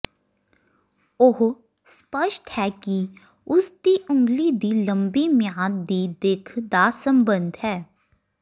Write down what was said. ਉਹ ਸਪੱਸ਼ਟ ਹੈ ਕਿ ਉਸ ਦੀ ਉਂਗਲੀ ਦੀ ਲੰਬੀ ਮਿਆਦ ਦੀ ਦਿੱਖ ਦਾ ਸਬੰਧ ਹੈ